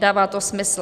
Dává to smysl.